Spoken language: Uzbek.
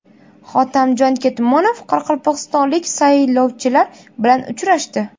Hotamjon Ketmonov qoraqalpog‘istonlik saylovchilar bilan uchrashdi.